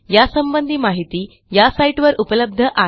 यासंबंधी माहिती या साईटवर उपलब्ध आहे